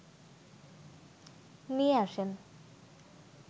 নিয়ে আসেন।